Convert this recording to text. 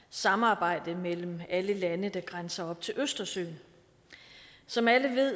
samarbejde mellem alle lande der grænser op til østersøen som alle ved